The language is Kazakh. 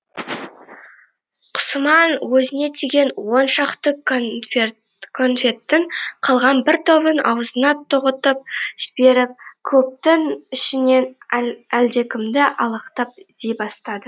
құсыман өзіне тиген он шақты конфеттің қалған бір тобын аузына тоғытып жіберіп көптің ішінен әлдекімді алақтап іздей бастады